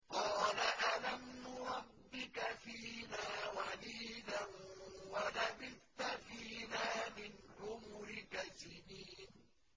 قَالَ أَلَمْ نُرَبِّكَ فِينَا وَلِيدًا وَلَبِثْتَ فِينَا مِنْ عُمُرِكَ سِنِينَ